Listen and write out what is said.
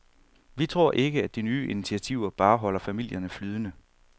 Vi tror ikke, at de nye initiativer bare holder familierne flydende.